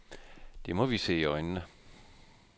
Det må vi se i øjnene.